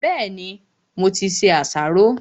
Bẹ́ẹ̀ni, mo ti se àsáró.